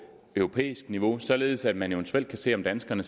europæisk niveau således at man eventuelt kan se om danskerne